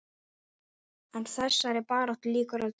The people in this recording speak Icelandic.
En þessari baráttu lýkur aldrei.